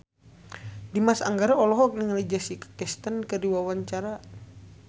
Dimas Anggara olohok ningali Jessica Chastain keur diwawancara